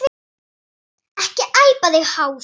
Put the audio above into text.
Ekki æpa þig hása!